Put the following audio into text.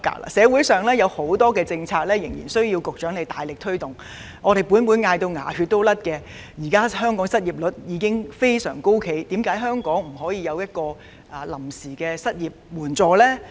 我們仍有多項政策須由局長大力推動——立法會早呼喊至"出牙血"了，香港現時的失業率相當高，為何政府不能推出臨時的失業援助計劃呢？